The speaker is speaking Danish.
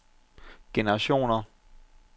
generationer